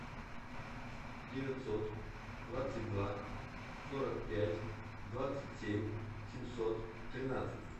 девятьсот двадцать два сорок пять двадцать семь семьсот тринадцать